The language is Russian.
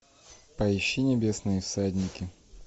поищи небесные всадники